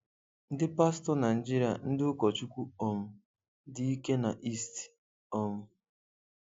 Ndị pastọ Naijiria-ndị ụkọchukwu um dị ike na East. um